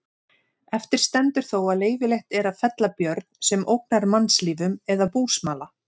Eftir stendur þó að leyfilegt er að fella björn sem ógnar mannslífum eða búsmala.